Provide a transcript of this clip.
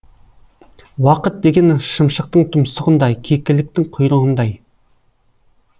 уақыт деген шымшықтың тұмсығындай кекіліктің құйрығындай